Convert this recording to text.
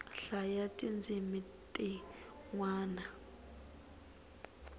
hlayaa ti ndzimi ti nwana